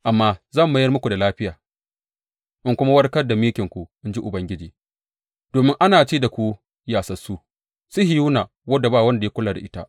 Amma zan mayar muku da lafiya in kuma warkar da mikinku,’ in ji Ubangiji, domin ana ce da ku yasassu, Sihiyona wadda ba wanda ya kula da ita.’